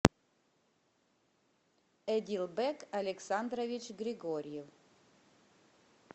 эдилбек александрович григорьев